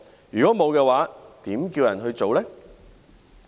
如果沒有，又怎樣叫人做呢？